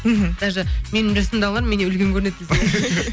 мхм даже менің жасымдағылар меннен үлкен көрінеді десең ә